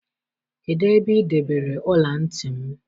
Kedụ ebe ị debere ọla ntị m?